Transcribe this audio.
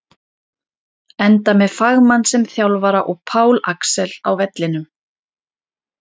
Enda með fagmann sem þjálfara og Pál Axel á vellinum!